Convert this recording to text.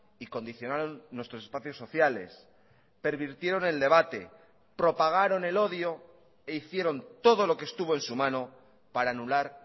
y condicionaron nuestros espacios sociales pervirtieron el debate propagaron el odio e hicieron todo lo que estuvo en su mano para anular